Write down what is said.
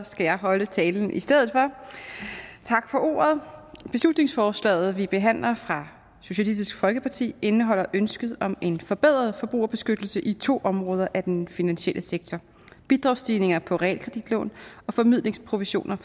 skal jeg holde talen i stedet for tak for ordet beslutningsforslaget som vi behandler fra socialistisk folkeparti indeholder ønsket om en forbedret forbrugerbeskyttelse i to områder af den finansielle sektor bidragsstigninger på realkreditlån og formidlingsprovisioner